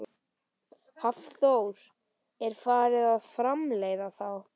Hafþór: Er farið að framleiða þá?